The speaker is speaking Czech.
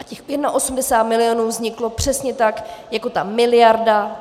A těch 81 milionů vzniklo přesně tak jako ta miliarda.